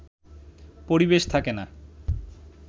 পরিবেশ থাকে না